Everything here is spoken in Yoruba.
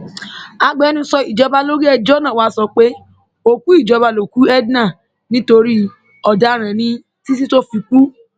agbẹnusọ ìjọba lórí ẹjọ náà wàá sọ pé òkú ìjọba lókú edna nítorí ọdaràn ní títí tó fi kú